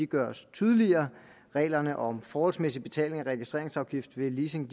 gøres tydeligere reglerne om forholdsmæssig betaling af registreringsafgift ved leasing